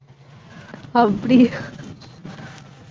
அப்படியா